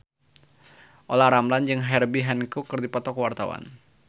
Olla Ramlan jeung Herbie Hancock keur dipoto ku wartawan